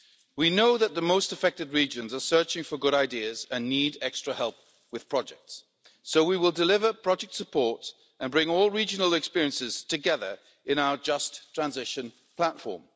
We know that the most affected regions are searching for good ideas and need extra help with projects, so we will deliver project support and bring all regional experiences together in our Just Transition platform.